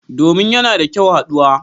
Domin yana da kyau haduwa.